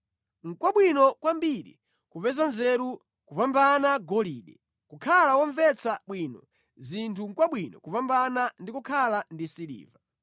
Nʼkwabwino kwambiri kupeza nzeru kupambana golide. Kukhala womvetsa bwino zinthu nʼkwabwino kupambana ndi kukhala ndi siliva.